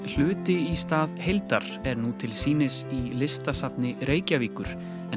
myndlistarsýningin hluti í stað heildar er nú til sýnis í Listasafni Reykjavíkur